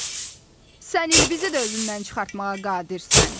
Sən ilbizi də özündən çıxartmağa qadirsən.